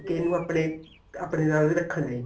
ਤੇ ਇਹਨੂੰ ਆਪਣੇ ਆਪਣੇ ਨਾਲ ਵੀ ਰੱਖਣਾ ਐ